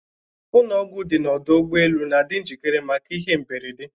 Ụnọ ọgwụ dị n'ọdụ ụgbọ elu na-adị njikere maka ihe mberede.